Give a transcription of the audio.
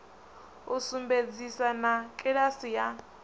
u sumbedzisa na kiḽasi ya